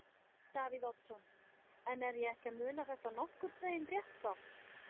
Davíð Oddsson: En er ég ekki að muna þetta nokkurn veginn rétt þá?